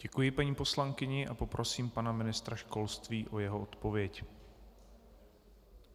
Děkuji paní poslankyni a poprosím pana ministra školství o jeho odpověď.